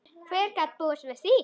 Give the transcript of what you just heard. Hver gat búist við því?